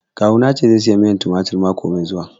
Kawu na ya ce zai saya miyar tumatir mako mai zuwa